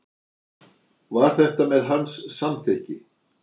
Var þetta með hans samþykki?